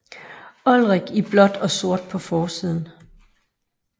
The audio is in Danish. Olrik i blåt og sort på forsiden